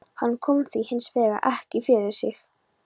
Hann kom því hins vegar ekki fyrir sig.